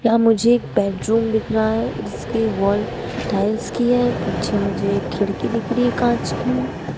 यहां मुझे एक बेडरूम दिखे रहा है जिसके वॉल टाइल्स की है पीछे मुझे एक खिड़की दिखे रही है कांच की।